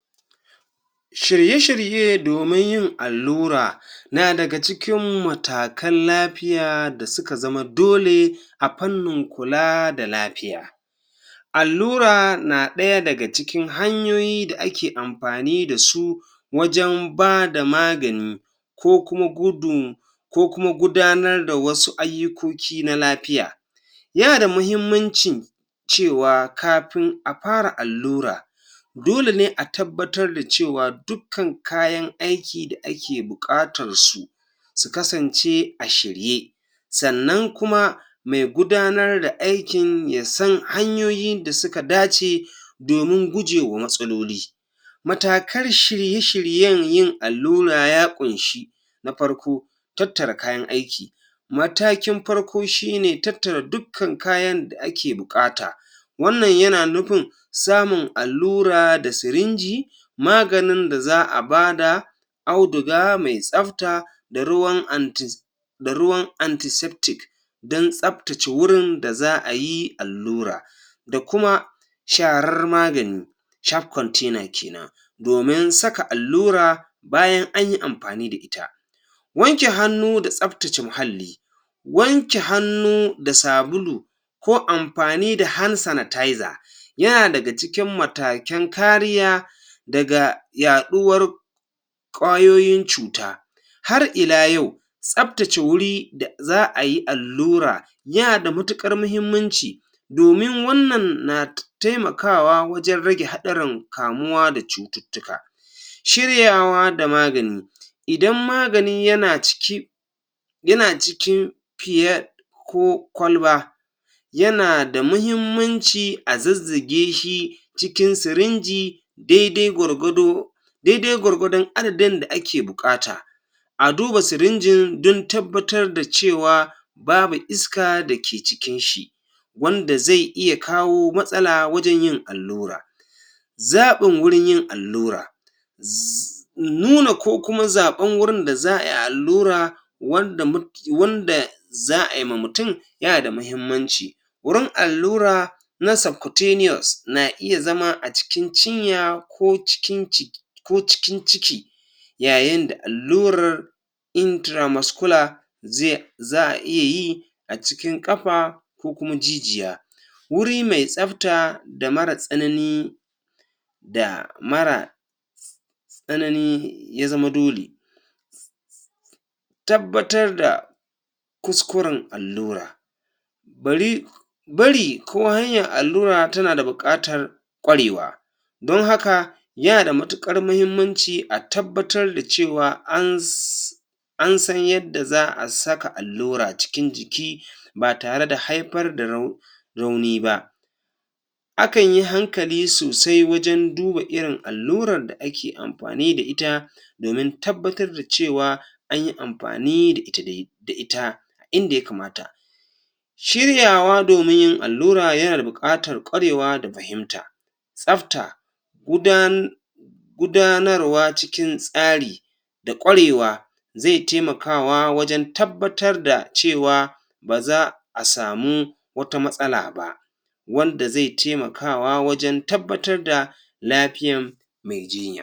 Shirye shirye domin yin allura na daga cikin matakan lapiya da suka zama dole a pannin kula da lapiya allura na ɗaya daga cikin hanyoyi da ake ampani da su wajen bada magani ko kuma ko kuma gudanar da wasu ayyukoki na lapiya yana da muhimmanci cewa kapin a para allura dole ne a tabbatar da cewa dukkan kayan aiki da ake buƙatar su su kasancea shirye sannan kuma ma gudanar da aikin ya san hanyoyin da suka dace domin gujewa matsaloli matakar shirye-shiryen yin allura ya ƙunshi na parko tattara kayan aiki matakin parko shine tattara dukkan kayan aiki da ake buƙata wannan yana nupin samun alura da sirinji maganin da za a bada auduga mai tsafta da ruwan da ruwan don tsaptace wurin da za ayi allura da kuma shar magani kenan domin saka allura bayan anyi ampani da ita wanke hannu da tsaptace muhalli wanke hannu da sabulu ko ampani da yana daga cikin matakan kariya daga yaɗuwar ƙwayoyin cuta har ila yau tsaptace wuri da za ayi allura yana da matuƙar muhimmanci domin wannan na taimakawa wajen rage haɗaran kamuwa da cututtuka ciryawa da magani idan magani yana ciki yana cikin ko kwalba yana da muhimmanci a zazzage shi cikin sirinji daidai gwargwado daidai gwargwadon adadin da ake buƙata a duba sirinjin don tabbatar da cewa babu iska da ke cikin shi wanda zai iya kawo matsala wajen yin allura zaɓin wurin yin allura nuna ko kuma zaɓan wurin da za ayi allura wanda um wanda za ayi ma mutum yana da mahimmanci wurin allura na na iya zama a cikin cinya\ ko cikin ko cikin ciki yayin da allurar ze za a iya yi a cikin ƙapa ko kuma jijiya wuri mai tsafta da mara tsanani da mara tsanani ya zama dole tabbatar da kuskuren allura bari bari ko hanyar alura tana da ƙwarewa don haka yana da matuƙar muhimmanci a tabbatar da cewa an an san yadda za a saka allura cikin jiki ba tare da haipar da rauni ba akan yi hankali sosai wajen duba irin allurar da ake ampani da ita domin tabbatar da cewa anyi ampani da ita dai da ita inda ya kamata shiryawa domin yin alllura yana bukatar ƙwarewa da fahimat tsafta gudanarwa cikin tsari da ƙwarewa ze taimakawa wajen tabbatar da cewa baza a samu wata matsala ba wanda ze temakawa wajen tabbatar da lapiyan mai jiyya.